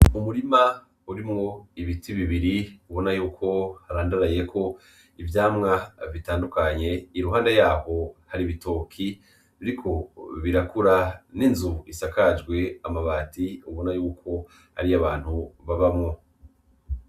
Umurima urimwo ibiti bibiri ubona yuko harandarayeko ivyamwa bitandukanye, iruhande yaho hari ibitoki biriko birakura n'inzu isakajwe amabati ubona yuko ari iy'abantu babamwo.